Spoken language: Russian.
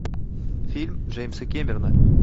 фильм джеймса кэмерона